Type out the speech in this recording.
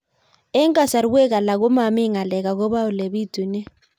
Eng' kasarwek alak ko mami ng'alek akopo ole pitunee